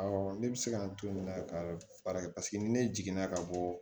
Awɔ ne bɛ se ka n to nin na ka baara kɛ paseke ni ne jiginna ka bɔ